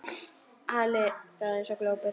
Halli stóð eins og glópur.